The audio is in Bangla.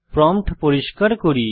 প্রম্পট পরিষ্কার করি